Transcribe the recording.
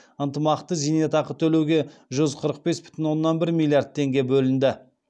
ынтымақты зейнетақы төлеуге жүз қырық бес бүтін оннан бір миллиард теңге бөлінді